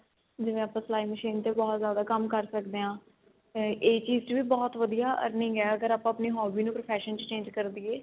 ਜਿਵੇ ਆਪਾਂ ਸਲਾਈ machine ਤੇ ਬਹੁਤ ਜਿਆਦਾ ਕੰਮ ਕਰ ਸਕਦੇ ਆ ਇਹ ਚੀਜ ਚ ਵੀ ਬਹੁਤ ਜਿਆਦਾ earning ਏ ਅਗਰ ਆਪਾਂ ਆਪਣੀ hobby ਨੂੰ profession ਚ change ਕਰ ਦਈਏ